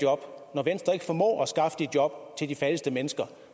job når venstre ikke formår at skaffe de job til de fattigste mennesker